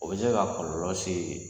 O be se ka kɔlɔlɔ se